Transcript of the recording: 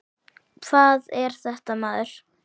Hvað er þetta maður.